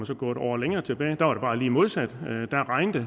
så gå et år længere tilbage hvor det bare lige var modsat da regnede